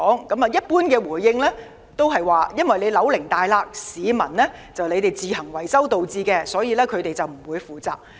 回應一般是大廈的樓齡長，裂痕是市民自行維修所致，所以他們不會負責。